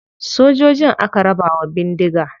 Sojojin aka raba wa bindiga.